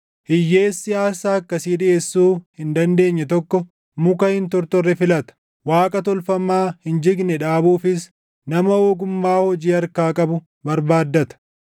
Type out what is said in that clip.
Hiyyeessi aarsaa akkasii dhiʼeessuu hin dandeenye tokko muka hin tortorre filata. Waaqa tolfamaa hin jigne dhaabuufis nama ogummaa hojii harkaa qabu barbaaddata.